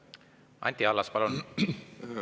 Anti Allas, palun!